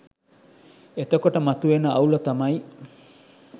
එතකොට මතුවෙන අවුල තමයි